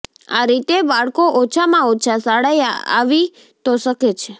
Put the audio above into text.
આ રીતે બાળકો ઓછામાં ઓછા શાળાએ આવી તો શકે છે